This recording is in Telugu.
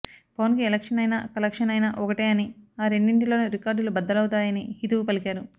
పవన్ కి ఎలక్షన్ అయినా కలెక్షన్ అయినా ఒకటే అని ఆ రెండింటిలోనూ రికార్డులు బద్దలవుతాయని హితవు పలికారు